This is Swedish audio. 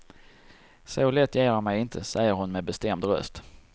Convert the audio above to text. Så lätt ger jag mej inte, säger hon med bestämd röst.